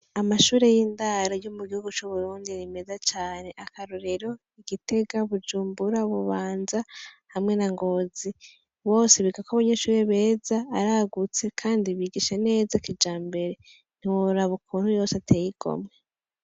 Amashure y'indaro yo mu gihugu c'Uburundi ni meza cane, akarorero, Gitega, Bujumbura, Bubanza hamwe na Ngozi, bose bigako abanyeshure beza aragutse kandi bigisha neza kijambere ntiworaba ukuntu yose ateye igomwe.